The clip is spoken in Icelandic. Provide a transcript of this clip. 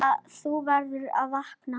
Þú verður að vakna.